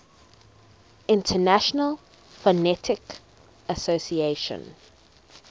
international phonetic association